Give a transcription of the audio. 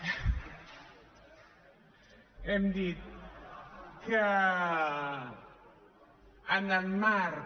hem dit que en el marc